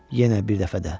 Yenə bir dəfə də.